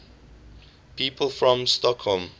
people from stockholm